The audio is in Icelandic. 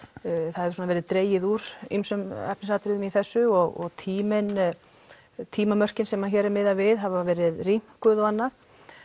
það hefur verið dregið úr ýmsum efnisatriðum í þessu og tímamörkin tímamörkin sem hér er miðað við hafa verið rýmkuð og annað